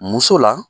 Muso la